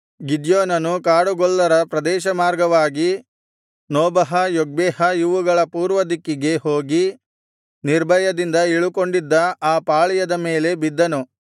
ಗಿದ್ಯೋನನು ಕಾಡುಗೊಲ್ಲರ ಪ್ರದೇಶಮಾರ್ಗವಾಗಿ Nobah Jogbehah ಇವುಗಳ ಪೂರ್ವದಿಕ್ಕಿಗೆ ಹೋಗಿ ನಿರ್ಭಯದಿಂದ ಇಳುಕೊಂಡಿದ್ದ ಆ ಪಾಳೆಯದ ಮೇಲೆ ಬಿದ್ದನು